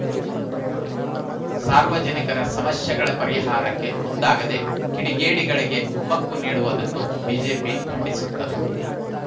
ಸಾರ್ವಜನಿಕರ ಸಮಸ್ಯೆಗಳ ಪರಿಹಾರಕ್ಕೆ ಮುಂದಾಗದೆ ಕಿಡಿಗೇಡಿಗಳಿಗೆ ಕುಮ್ಮಕ್ಕು ನೀಡುವುದನ್ನು ಬಿಜೆಪಿ ಖಂಡಿಸುತ್ತದೆ